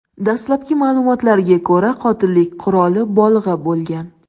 Dastlabki ma’lumotlarga ko‘ra, qotillik quroli bolg‘a bo‘lgan.